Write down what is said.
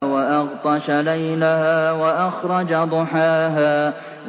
وَأَغْطَشَ لَيْلَهَا وَأَخْرَجَ ضُحَاهَا